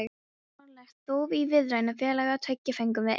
Eftir óralangt þóf í viðræðunefnd félaganna tveggja fengum við Einar